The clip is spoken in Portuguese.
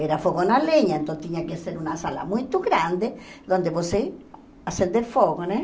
Era fogão à lenha, então tinha que ser uma sala muito grande, onde você acender fogo, né?